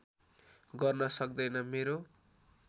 गर्न सक्दैन मेरो